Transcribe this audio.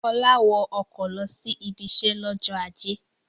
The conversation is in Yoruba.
Ọlá wọ ọkọ̀ lọ sí ibiṣẹ́ lọ́jọ́ ajé.